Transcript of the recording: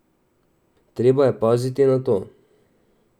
Treba je paziti na to!